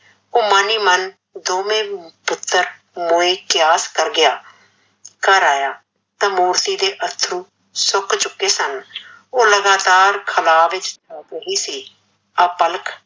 ਓਹ ਮਨ ਈ ਮਨ ਦੋਵੇਂ ਪੁੱਤਰ ਮੋਏ ਕਿਆਸ ਕਰ ਗਿਆ, ਘਰ ਆਇਆ ਤਾਂ ਮੂਰਤੀ ਦੇ ਅਥੱਰੂ ਸੁੱਕ ਚੁੱਕੇ ਸਨ, ਓਹ ਲਗਾਤਾਰ ਖਲਾ ਵਿੱਚ ਰਿਹੰਦੀ ਸੀ ਆ ਪਲਕ